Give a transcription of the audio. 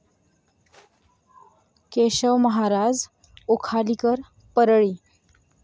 Keshav Maharaj Ukhalikar Parli